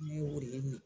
Ne ye o de ye